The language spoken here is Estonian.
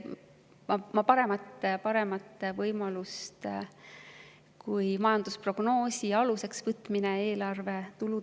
Ma paremat võimalust eelarve tulude planeerimisel kui majandusprognoosi aluseks võtmine ei tea.